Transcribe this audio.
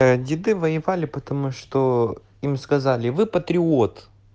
а деды воевали потому что им сказали вы патриот